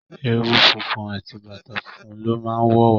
Ewu funfun àti bàtá fún lọ má wọ wá.